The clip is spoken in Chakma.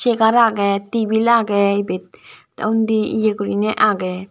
chair aage tebil aage ebet te unni ye gurine aage.